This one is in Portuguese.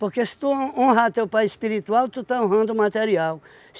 Porque se tu hon honrar teu pai espiritual, tu está honrando o material.